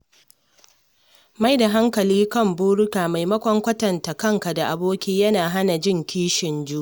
Maida hankali kan burinka maimakon kwatanta kanka da abokai yana hana jin kishin juna.